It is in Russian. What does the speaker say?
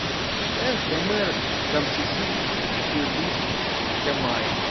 эх гомер камчысы фирдус тямаев